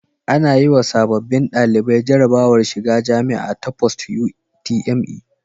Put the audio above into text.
Ana yiwa sababbin ɗalibai jarabawar shiga jamia ta post UTME